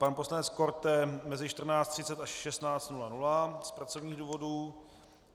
Pan poslanec Korte mezi 14.30 až 16.00 z pracovních důvodů.